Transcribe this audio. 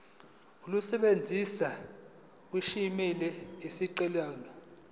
olusebenza kwisimo esiqondena